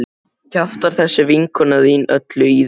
Kjaftar þessi vinkona þín öllu í þig?